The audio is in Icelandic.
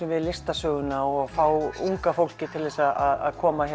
við listasöguna og að fá unga fólkið til að koma